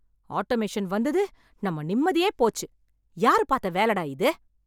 Automation வந்தது நம்ம நிம்மதியே போச்சு, யாரு பாத்த வேல டா இது.